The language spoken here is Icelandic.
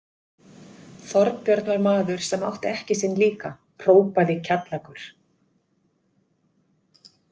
Þorbjörn var maður sem átti ekki sinn líka, hrópaði Kjallakur.